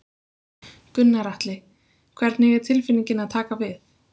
Gunnar Atli: Hvernig er tilfinningin að taka við?